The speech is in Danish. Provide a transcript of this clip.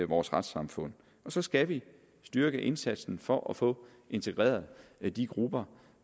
vores retssamfund og så skal vi styrke indsatsen for at få integreret de grupper